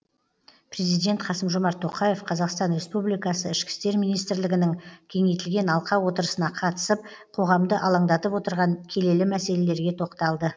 президент қасым жомарт тоқаев қазақстан республикасы ішкі істер министрлігінің кеңейтілген алқа отырысына қатысып қоғамды алаңдатып отырған келелі мәселелерге тоқталды